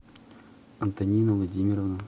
антонина владимировна